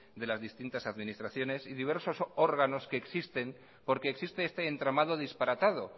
de las distintas administraciones y diversos órganos que existen porque existe este entramado disparatado